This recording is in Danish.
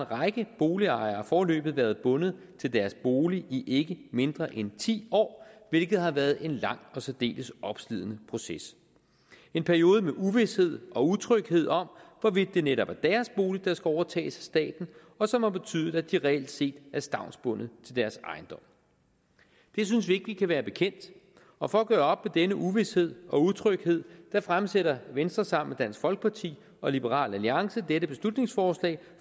række boligejere foreløbig været bundet til deres bolig i ikke mindre end ti år hvilket har været en lang og særdeles opslidende proces en periode med uvished og utryghed om hvorvidt det netop er deres bolig der skal overtages af staten og som har betydet at de reelt set er stavnsbundet til deres ejendom det synes vi ikke vi kan være bekendt og for at gøre op denne uvished og utryghed fremsætter venstre sammen dansk folkeparti og liberal alliance dette beslutningsforslag